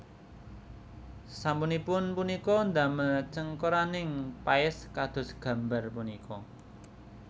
Sasampunipun punika ndamel cengkoronganing paès kados gambar punika